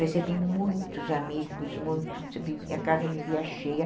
recebi muitos amigos, muitos, a casa vivia cheia.